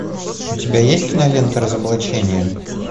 у тебя есть кинолента разоблачение